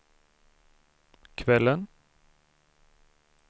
kvällen